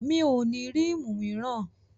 Mi ò ní rímù míràn.